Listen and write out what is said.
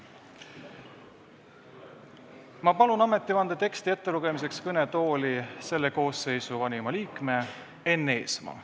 Ma palun ametivande teksti ettelugemiseks kõnetooli selle koosseisu vanima liikme Enn Eesmaa.